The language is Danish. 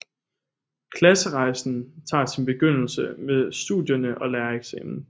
Klasserejsen tager sin begyndelse med studierne og lærereksamen